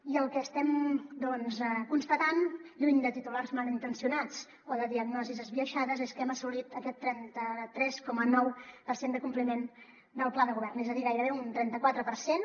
i el que estem doncs constatant lluny de titulars malintencionats o de diagnosis esbiaixades és que hem assolit aquest trenta tres coma nou per cent de compliment del pla de govern és a dir gairebé un trenta quatre per cent